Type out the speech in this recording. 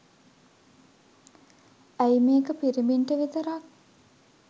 ඇයි මේක පිරිමින්ට විතරක්?